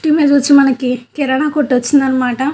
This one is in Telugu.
ఇమేజ్ వచ్చి మనకి కిరాణా కొట్టు వచ్చిందనమాట.